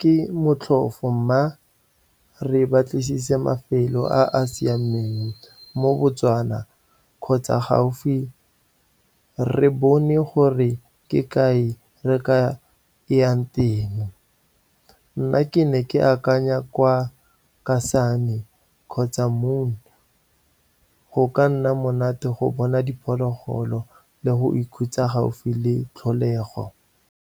ke motlhofo, mma re batlisise mafelo a a siameng mo Botswana kgotsa gaufi, re bone gore ke kae re ka yang teng. Nna ke ne ke akanya kwa Kasane kgotsa , go ka nna monate go bona diphologolo le go ikhutsa gaufi le tlholego.